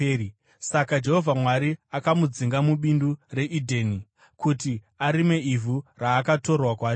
Saka Jehovha Mwari akamudzinga mubindu reEdheni kuti arime ivhu raakatorwa kwariri.